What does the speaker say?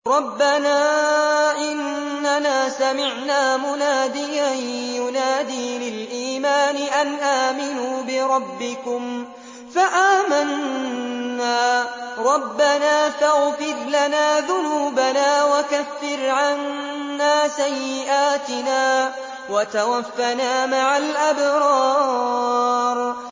رَّبَّنَا إِنَّنَا سَمِعْنَا مُنَادِيًا يُنَادِي لِلْإِيمَانِ أَنْ آمِنُوا بِرَبِّكُمْ فَآمَنَّا ۚ رَبَّنَا فَاغْفِرْ لَنَا ذُنُوبَنَا وَكَفِّرْ عَنَّا سَيِّئَاتِنَا وَتَوَفَّنَا مَعَ الْأَبْرَارِ